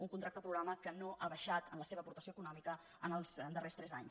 un contracte programa que no ha baixat en la seva aportació econòmica en els darrers tres anys